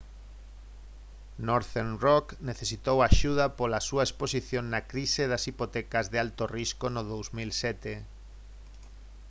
northern rock necesitou axuda pola á súa exposición na crise das hipotecas de alto risco no 2007